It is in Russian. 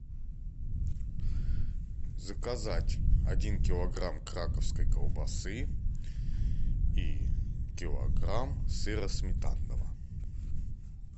заказать один килограмм краковской колбасы и килограмм сыра сметанного